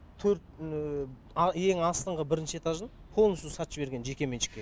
төрт ең астыңғы бірінші этажын полностью сатып жіберген жекеменшікке